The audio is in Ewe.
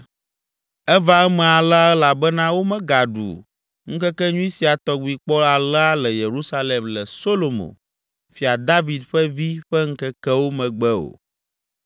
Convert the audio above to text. Eva eme alea elabena womegaɖu ŋkekenyui sia tɔgbi kpɔ alea le Yerusalem le Solomo, Fia David ƒe vi ƒe ŋkekewo megbe o.